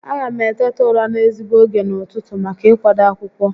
A ga m eteta ụra n'ezigbo ógè n'ụtụtụ maka ị kwado akwụkwọ